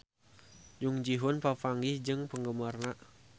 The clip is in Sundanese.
Jung Ji Hoon papanggih jeung penggemarna